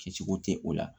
Kɛcogo tɛ o la